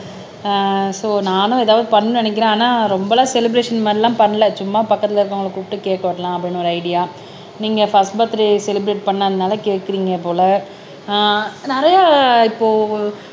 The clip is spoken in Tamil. அஹ் சோ நானும் எதாவது பண்ணணும்னு நினைக்கிறேன் ஆனா ரொம்ப எல்லாம் செலிப்ரஷன் மாதிரி எல்லாம் பண்ணல சும்மா பக்கத்துல இருக்கிறவங்களை கூப்பிட்டு கேக்கு வெட்டலாம் அப்படின்னு ஒரு ஐடியா நீங்க பர்ஸ்ட் பர்த்டே செலிப்ரட் பண்ணதுனால கேட்கறீங்க போல அஹ் நிறைய இப்போ